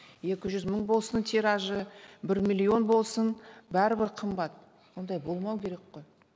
екі жүз мың болсын тиражы бір миллион болсын бәрібір қымбат ондай болмау керек қой